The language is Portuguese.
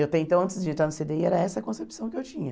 Eu até então antes de entrar no cê dê i, era essa a concepção que eu tinha.